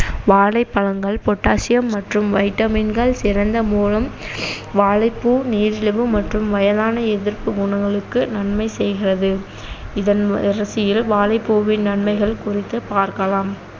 வாழைப்பழங்கள் potassium மற்றும் vitamin கள் வாழைப்பூ நீரிழிவு மற்றும் வயதான எதிர்ப்பு குணங்களுக்கு நன்மை செய்கிறது இதன் வரிசையில் வாழைப்பூவின் நன்மைகள் குறித்து பார்க்கலாம்